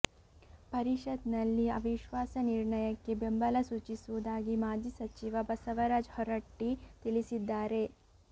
ಪರಿಷತನಲ್ಲಿ ಅವಿಶ್ವಾಸ ನಿರ್ಣಯಕ್ಕೆ ಬೆಂಬಲ ಸೂಚಿಸುವುದಾಗಿ ಮಾಜಿ ಸಚಿವ ಬಸವರಾಜ ಹೊರಟ್ಟಿ ತಿಳಿಸಿದ್ದಾರೆ